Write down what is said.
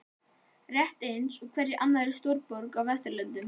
Rétt eins og í hverri annarri stórborg á vesturlöndum.